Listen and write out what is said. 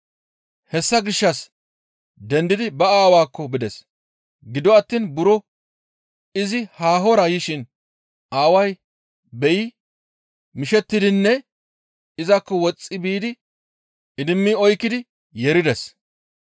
Hessa gishshas dendidi ba aawaakko bides; gido attiin buro izi haahora yishin aaway beyi mishettidinne izakko woxxi biidi idimmi oykkidi yeerides.